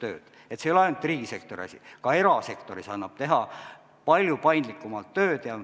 See ei ole ainult riigisektori asi, ka erasektoris annab palju paindlikumalt tööd teha.